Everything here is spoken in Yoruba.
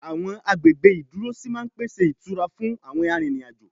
Àwọn agbègbè ìdúrósí máa ń pèsè ìtura frun àwọn arìnriǹ-àjo